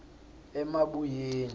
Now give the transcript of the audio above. emabuyeni